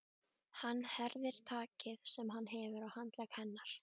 Hann herðir takið sem hann hefur á handlegg hennar.